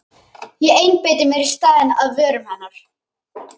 Ég einbeiti mér í staðinn að vörum hennar.